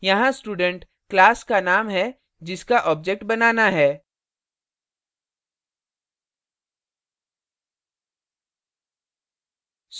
यहाँ student class का name है जिसका object बनाना है